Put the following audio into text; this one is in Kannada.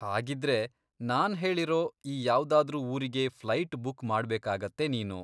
ಹಾಗಿದ್ರೆ, ನಾನ್ ಹೇಳಿರೋ ಈ ಯಾವ್ದಾದ್ರೂ ಊರಿಗೆ ಫ್ಲೈಟ್ ಬುಕ್ ಮಾಡ್ಬೇಕಾಗತ್ತೆ ನೀನು.